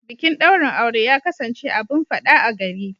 Bikin daurin aure ya kasance abun fada a gari.